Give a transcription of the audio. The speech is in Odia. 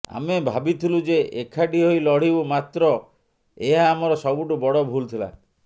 ଆମେ ଭାବିଥିଲୁ ଯେ ଏକାଠି ହୋଇ ଲଢିବୁ ମାତ୍ର ଏହା ଆମର ସବୁଠୁ ବଡ ଭୁଲ ଥିଲା